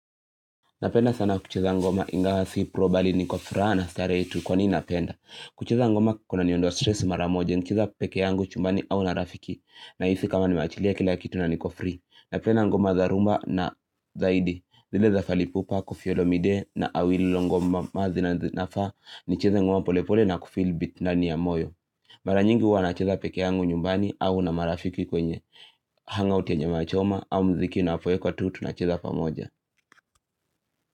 Napenda sana kucheza ngoma ingaw si probali niko furaha na starehe tu kwa ni napenda. Kucheza ngoma kuna niondoa stress mara moja nikicheza peke yangu chumbani au na rafiki nahisi kama nimechilia kila kitu na niko free. Napenda ngoma za rhumba na zaidi zile za fally Ipupa kofi olomide na awililongoma nafaa nicheze ngoma polepole na kufeel beat nani ya moyo. Mara nyingi huwa nacheza peke yangu nyumbani au na marafiki kwenye hangout ya nyama choma au mziki unapoekwa tu, tunacheza pamoja.